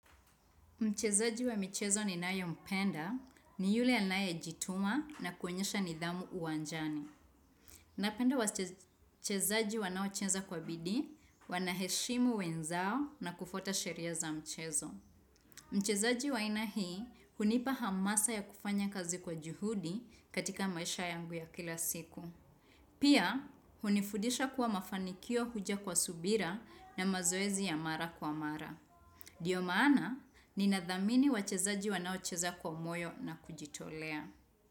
Mchezaji wa michezo ninaye mpenda ni yule anayejituma na kuonyesha nidhamu uwanjani. Napenda wachezaji wanaocheza kwa bidii, wanaheshimu wenzao na kufuata sheria za mchezo. Mchezaji wa aina hii hunipa hamasa ya kufanya kazi kwa juhudi katika maisha yangu ya kila siku. Pia, hunifudisha kuwa mafanikio huja kwa subira na mazoezi ya mara kwa mara. Ndio maana, ninadhamini wachezaji wanaocheza kwa moyo na kujitolea.